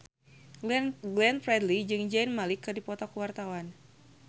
Glenn Fredly jeung Zayn Malik keur dipoto ku wartawan